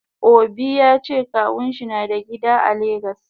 Obi yace kawunshi nada gida a lagos.